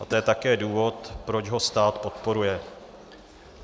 A to je také důvod, proč ho stát podporuje.